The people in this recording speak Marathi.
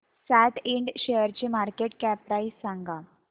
सॅट इंड शेअरची मार्केट कॅप प्राइस सांगा